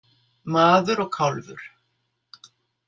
Maður og kálfur.